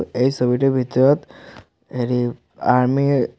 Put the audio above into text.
এই ছবিটোৰ ভিতৰত হেৰি আৰ্মি ৰ--